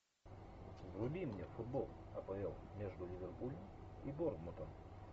вруби мне футбол апл между ливерпулем и борнмутом